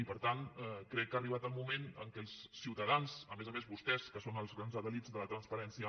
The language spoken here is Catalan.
i per tant crec que ha arribat el moment que els ciutadans a més a més vostès que són els grans paladins de la transparència